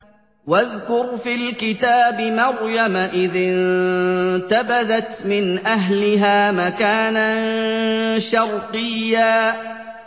وَاذْكُرْ فِي الْكِتَابِ مَرْيَمَ إِذِ انتَبَذَتْ مِنْ أَهْلِهَا مَكَانًا شَرْقِيًّا